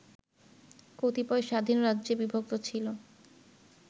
কতিপয় স্বাধীন রাজ্যে বিভক্ত ছিল